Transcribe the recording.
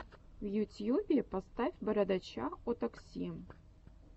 в ютьюбе поставь бородача о такси